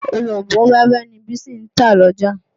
Òronbó wẹ́wẹ́ ni Bísí ń tà l'ọ́jà.